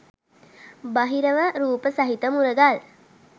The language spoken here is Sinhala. බහිරව රූප සහිත මුරගල්